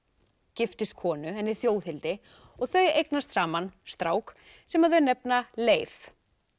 giftist konu henni Þjóðhildi og þau eignast saman strák sem þau nefna Leif